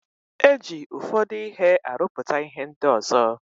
E ji ụfọdụ ihe arụpụta ihe ndị ọzo.